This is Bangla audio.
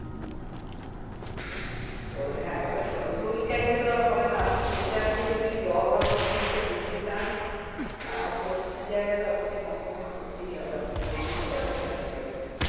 তো হ্যাঁ এবারে দু টোই চাইলেই তো আর হবে না আপনি nature কে যদি raw ভাবে nature কে দেখতে চান আর তো কিছু জায়গা তো আপনাকে compromise করতেই হবে আপনি তো জেনেই যাচ্ছেন আর কি ওখানে